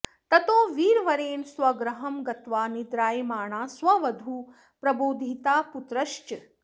ततो वीरवरेण स्वगृहं गत्वा निद्रायमाणा स्ववधूः प्रबोधिता पुत्रश्च